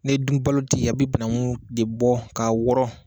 Ne dun balo tɛ yen, a bɛ bananku de bɔ ka wɔɔrɔ.